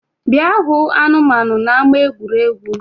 Bịa hụ anụmanu n’ama egwuregwu